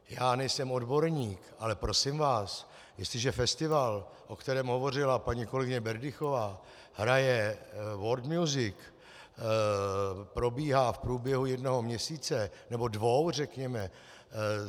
Já nejsem odborník, ale prosím vás, jestliže festival, o kterém hovořila paní kolegyně Berdychová, hraje world music, probíhá v průběhu jednoho měsíce nebo dvou řekněme.